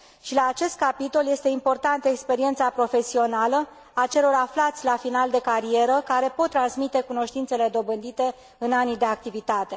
La acest capitol este importantă experiența profesională a celor aflați la final de carieră, care pot transmite cunoștințele dobândite în anii de activitate.